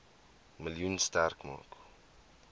miljoen sterk maak